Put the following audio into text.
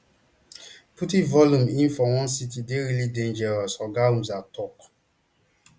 putting volume in for one sitting dey really dangerous oga humzah tok